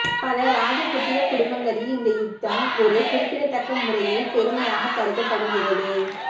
பல ராஜபுத்திர குடும்பங்களில் இந்த யுத்தம் ஒரு குறிப்பிடத்தக்க முறையில் பெருமையாகக் கருதப்படுகிறது